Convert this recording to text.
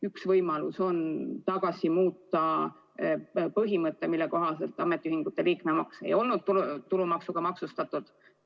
Üks võimalus on jälle tunnustada põhimõtet, mille kohaselt ametiühingu liikmemaks ei ole tulumaksuga maksustatud.